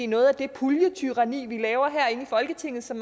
noget af det puljetyranni vi laver herinde i folketinget som